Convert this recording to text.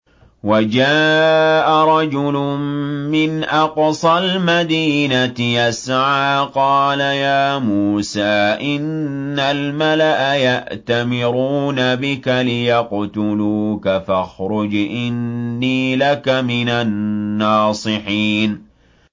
وَجَاءَ رَجُلٌ مِّنْ أَقْصَى الْمَدِينَةِ يَسْعَىٰ قَالَ يَا مُوسَىٰ إِنَّ الْمَلَأَ يَأْتَمِرُونَ بِكَ لِيَقْتُلُوكَ فَاخْرُجْ إِنِّي لَكَ مِنَ النَّاصِحِينَ